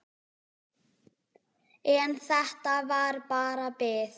En þetta var bara bið.